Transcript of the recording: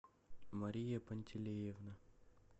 мария пантелеевна